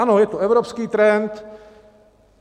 Ano, je to evropský trend.